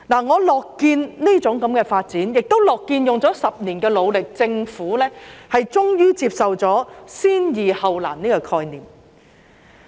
我樂見這種發展，亦樂見花了10年的努力，政府終於接受了"先易後難"的概念。